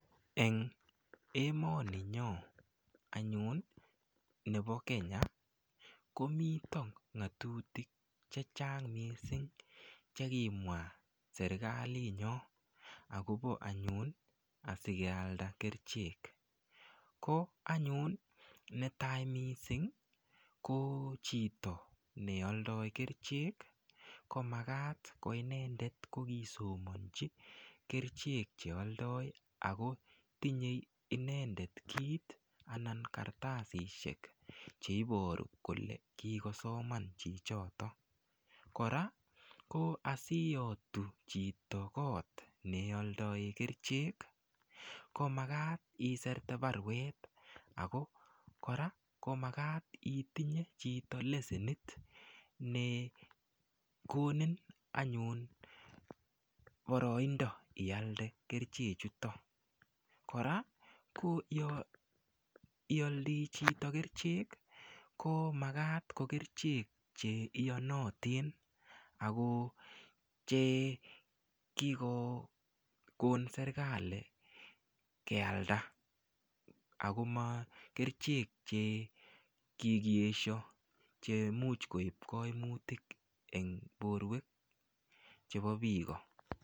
Eng emoni nyo anyun nepo Kenya komito ngatutik che chang mising chekimwa serikalit nyo akobo anyun akikealda kerchek ko anyun netai mising ko chito nealdoi kerchek komakat koinendet kokisomonchi kerchek chealdoi akotinyei inendet kiit anan kartasishek cheiboru kole kikosoman chichotok kora ko asuiyotu chito koot nealdoe kerchek ko makat iserte baruet ako kora komakat itinye chito lesenit ne konin anyun boroindo ialde kerchek choto kora ko yo ioldii chito kerchek ko makat ko kerchek che iyonotin ako che kikokon serikali kealda akoma kerchek che kikiesho che muuch koip koimutik eng borwek chebo biiko.